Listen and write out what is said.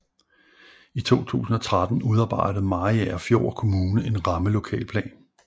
I 2013 udarbejdede Mariagerfjord Kommune en rammelokalplan